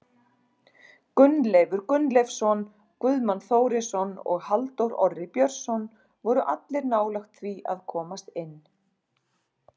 Gunnleifur Gunnleifsson, Guðmann Þórisson og Halldór Orri Björnsson voru allir nálægt því að komast inn.